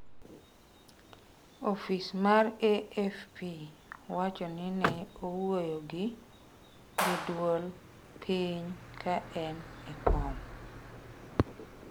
"Ofis mar AFP wacho ni ne owuoyo gi ""gi dwol piny ka en e kom"".